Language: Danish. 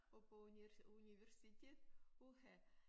Og på universitet uha